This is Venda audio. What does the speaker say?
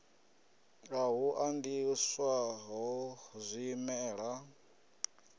ha u andiswa ho zwimela